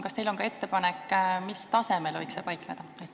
Kas teil on ka ettepanek, mis tasemel võiks see paikneda?